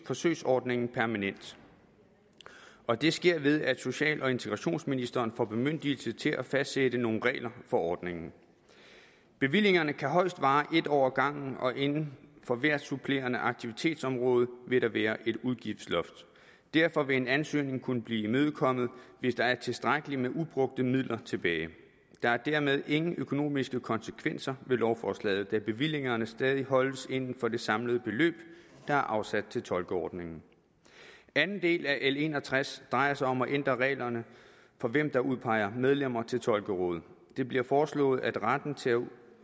forsøgsordningen permanent og det sker ved at social og integrationsministeren får bemyndigelse til at fastsætte nogle regler for ordningen bevillingerne kan højst vare en år ad gangen og inden for hvert supplerende aktivitetsområde vil der være et udgiftsloft derfor vil en ansøgning kunne blive imødekommet hvis der er tilstrækkeligt med ubrugte midler tilbage der er dermed ingen økonomiske konsekvenser ved lovforslaget da bevillingerne stadig holdes inden for det samlede beløb der er afsat til tolkeordningen anden del af l en og tres drejer sig om at ændre reglerne for hvem der udpeger medlemmer til tolkerådet det bliver foreslået at retten til